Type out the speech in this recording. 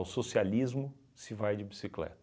socialismo se vai de bicicleta.